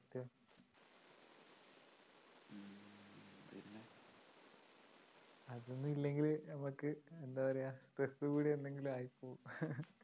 ഇതൊന്നുമല്ലെങ്കിൽ നമുക്ക്എന്താ പറയാ stress കൂടി എന്തെങ്കിലും ആയിപ്പോവും